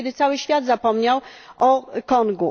r., kiedy cały świat zapomniał o Kongu.